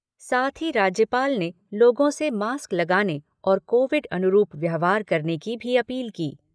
साथ ही राज्यपाल ने लोगों से मास्क लगाने और कोविड अनुरूप व्यवहार करने की भी अपील की।